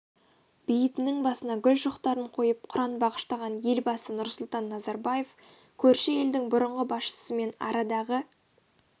бейітінің басына гүл шоқтарын қойып құран бағыштаған елбасы нұрсұлтан назарбаев көрші елдің бұрынғы басшысымен арадағы